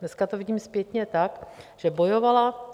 Dneska to vidím zpětně tak, že bojovala.